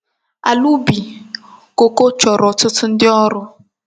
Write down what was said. Ala ubi koko choro otutu ndi órú.